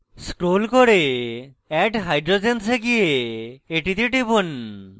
scroll করে add hydrogens এ গিয়ে এটিতে টিপুন